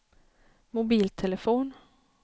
mobiltelefon